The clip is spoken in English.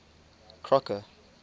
crocker